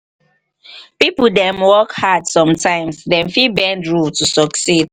pipo dem work hard sometimes dem fit bend rule to succeed